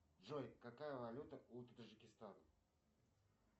джой какая валюта у таджикистана